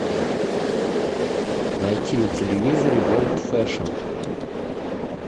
найти на телевизоре ворлд фэшн